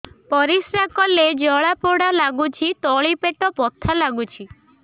ପରିଶ୍ରା କଲେ ଜଳା ପୋଡା ଲାଗୁଚି ତଳି ପେଟ ବଥା ଲାଗୁଛି